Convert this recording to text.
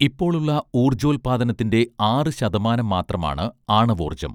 ഇപ്പോളുള്ള ഊർജ്ജോല്പാദനത്തിന്റെ ആറ് ശതമാനം മാത്രമാണ് ആണവോർജ്ജം